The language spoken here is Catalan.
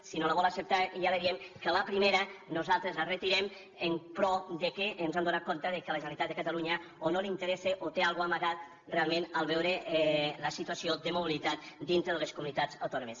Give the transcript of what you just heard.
si no la vol acceptar ja li diem que la primera nosaltres la retirem però ens hem adonat que la generalitat de catalunya o no li interessa o té alguna cosa amagada realment en veure la situació de mobilitat dintre de les comunitats autònomes